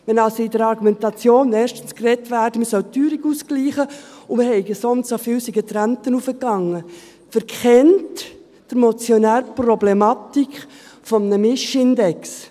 Wenn also in der Argumentation erstens davon gesprochen wird, man solle die Teuerung ausgleichen, und die Renten seien so und so viel raufgegangen, verkennt der Motionär die Problematik eines Mischindexes.